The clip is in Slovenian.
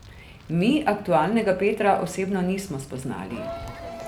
Mi aktualnega Petra osebno nismo spoznali.